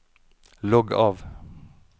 logg av